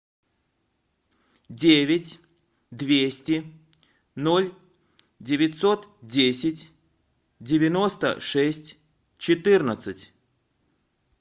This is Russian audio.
девять двести ноль девятьсот десять девяносто шесть четырнадцать